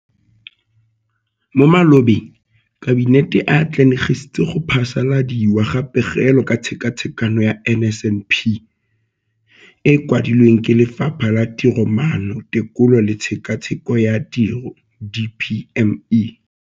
Mo malobeng Kabinete e atlenegisitse go phasaladiwa ga Pegelo ka Tshekatsheko ya NSNP e e kwadilweng ke Lefapha la Tiromaano, Tekolo le Tshekatsheko ya Tiro DPME.